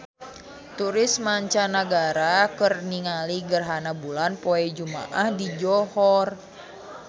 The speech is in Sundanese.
Turis mancanagara keur ningali gerhana bulan poe Jumaah di Johor